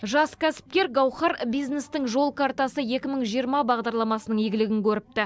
жас кәсіпкер гауһар бизнестің жол картасы екі мың жиырма бағдарламасының игілігін көріпті